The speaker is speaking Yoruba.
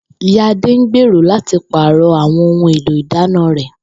Ìyá Adé ń gbèrò láti pàrò̩ àwo̩n ohun èlò ìdáná rè̩